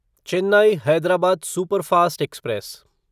Chennai Hyderabad superfast express